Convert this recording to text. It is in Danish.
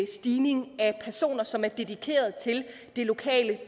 stigning af personer som er dedikeret til det lokale